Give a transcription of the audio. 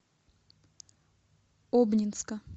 обнинска